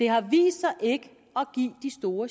har vist sig ikke at give de store